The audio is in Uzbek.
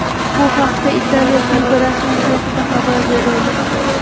Bu haqda Italiya klubi rasmiy saytida xabar berildi .